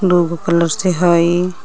दुगो कलर से हइ।